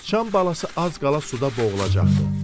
Sıçan balası az qala suda boğulacaqdı.